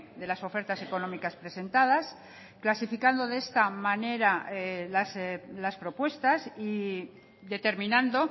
de las ofertas económicas presentadas clasificando de esta manera las propuestas y determinando